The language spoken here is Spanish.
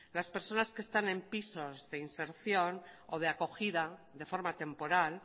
las personas que están en pisos de inserción o de acogida de forma temporal